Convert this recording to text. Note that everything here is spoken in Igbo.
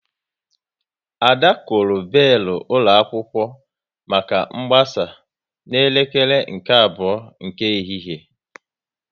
Ada kụrụ belu ụlọ akwụkwọ maka mgbasa n'elekere nke abụọ nke ehihie